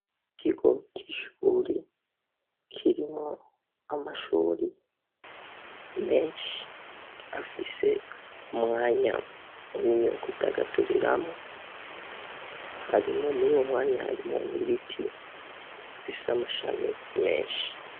Ikigo c'ishuri kirimwo amashuri menshi afise umwanya munini wo kwidagaduriramwo hariho nuwo mwanya hariho n'ibiti bifis'amashami menshi.